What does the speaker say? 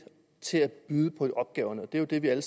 til at byde på opgaverne og det er jo det vi alle